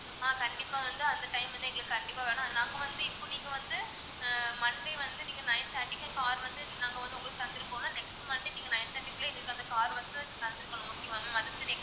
ஆஹ் கண்டிப்பா வந்து அந்த time வந்து எங்களுக்கு கண்டிப்பா வேணும் நாங்க வந்து இப்போ நீங்க வந்து ஆஹ் monday வந்து நீங்க nine thirty க்கு car வந்து நாங்க வந்து உங்களுக்கு தந்திருக்கோம்ல next monday நீங்க nine thirty க்குள்ள எங்களுக்கு அந்த car உ வந்து தந்திருக்கணும் okay வா ma'am அதுக்கு